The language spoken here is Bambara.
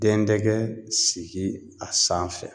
Den dɛgɛ sigi a sanfɛ.